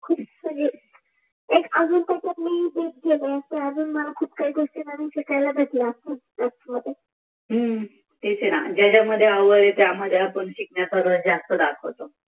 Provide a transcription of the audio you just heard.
तेच अजुन पटत नाहि कि अजुन मला खुप काहि गोश्टि अजुन शिकायला भेटल्या असत्या ह्म्म हम्म तेच आहे न ज्याच्यामधे आवड येते ते शिकण्यामधे आवड आपण जास्त दाखवतो